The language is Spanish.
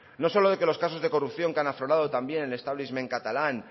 no solo de que los casos de corrupción que han aflorado también en el establishment catalán